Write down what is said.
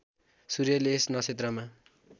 सूर्यले यस नक्षत्रमा